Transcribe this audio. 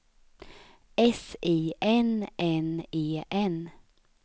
S I N N E N